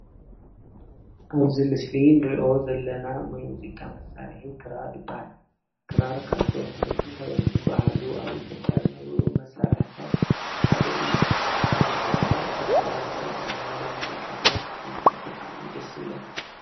ኣብዚ ምስሊ እንሪኦ ዘለና ናይ ሙዚቃ መሳርሒ ክራር ይባሃል፡፡ ክራር ካብቶም ናይ ጥንታዊያን ዝባሃሉ ኣብ ኢትዮጵያ ካብ ዝነበሩ መሳርሕታት ሓደ እዩ፡፡ ኣነ ከዓ ብክራር ዝተቀናበሩ ሙዚቃታት ክሰምዕ ብጣዕሚ ደስ ዝብለኒ፡፡